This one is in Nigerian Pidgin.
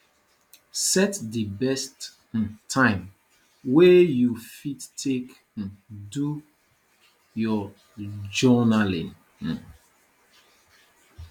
set di best um time wey you fit take um do your journalling um